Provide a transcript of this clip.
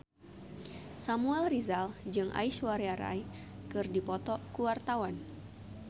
Samuel Rizal jeung Aishwarya Rai keur dipoto ku wartawan